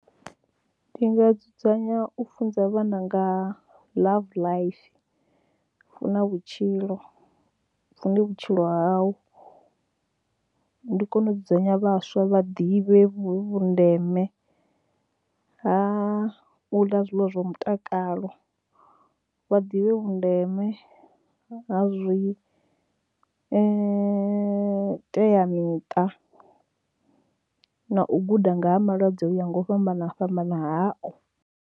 Ndi nga dzudzanya u funza vhana nga LoveLife, hu na vhutshilo, u fune vhutshilo hau, ndi kone u dzudzanya vhaswa vha ḓivhe vhundeme ha u ḽa zwiḽiwa zwa mutakalo, vha ḓivhe vhundeme ha zwi teamiṱa na u guda nga ha malwadze o yaho nga u fhambana fhambana hao.